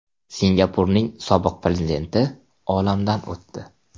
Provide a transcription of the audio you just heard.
Singapurning sobiq prezidenti olamdan o‘tdi.